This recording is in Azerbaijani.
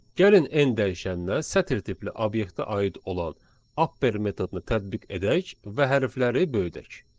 Gəlin n dəyişənnə sətir tipli obyektə aid olan upper metodunu tətbiq edək və hərfləri böyüdək.